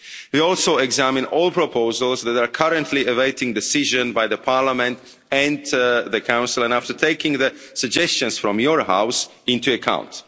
We have also examined all proposals that are currently awaiting decision by the Parliament and the Council, and after taking the suggestions from your house into account.